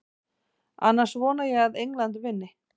Annars vona ég að England vinni.